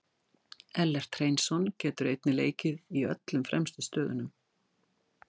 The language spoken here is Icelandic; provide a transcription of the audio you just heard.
Ellert Hreinsson getur einnig leikið í öllum fremstu stöðunum.